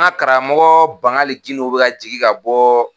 An ka karamɔgɔ Bangali Gindo bɛ ka jigin ka bɔ